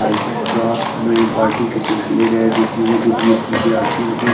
आई_टी_एल craft में participate लेरे है जिस मेसे खुद ही कुछ विद्यर्थियोने --